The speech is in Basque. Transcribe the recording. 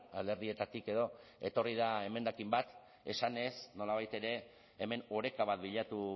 alderdietatik edo etorri da emendakin bat esanez nolabait ere hemen oreka bat bilatu